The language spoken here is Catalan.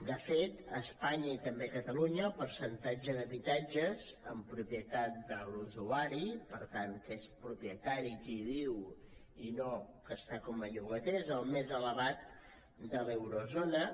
de fet a espanya i també a catalunya el percentatge d’habitatges en propietat de l’usuari per tant que n’és propietari qui hi viu i no que hi està com a llogater és el més elevat de l’eurozona